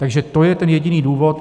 Takže to je ten jediný důvod.